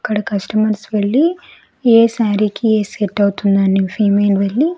ఇక్కడ కస్టమర్స్ వెళ్ళి ఏ శారీ కి ఏది సెట్ అవుతుంది అని ఫైమెన్ వెళ్ళి.